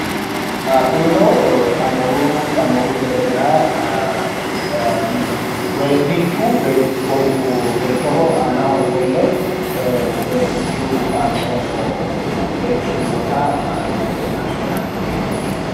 Kunino amooru gedelera wee'nichu beettoho aanaho ofolle wee'nichu aaanno beettu aannota lawuuze itanni no yaate wee'nichu.